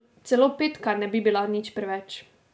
Celo petka ne bi bila nič preveč.